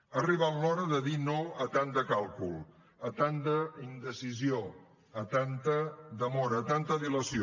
ha arribat l’hora de dir no a tant de càlcul a tanta indecisió a tanta demora a tanta dilació